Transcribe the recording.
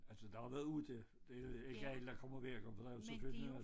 Altså der har været 8 det jo ikke alle der kommer hver gang og der jo selvfølgelig også